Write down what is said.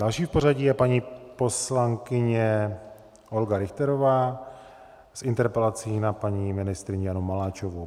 Další v pořadí je paní poslankyně Olga Richterová s interpelací na paní ministryni Janu Maláčovou.